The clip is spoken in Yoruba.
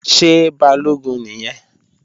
Ṣé Balógun nìyẹn?